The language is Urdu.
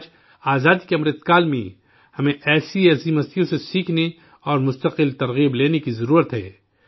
آج، آزادی کے امرت کال میں، ہمیں ایسی عظیم شخصیات سے سیکھنے اور مسلسل ترغیب حاصل کرنے کی ضرورت ہے